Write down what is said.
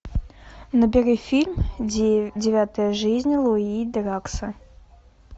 набери фильм девятая жизнь луи дракса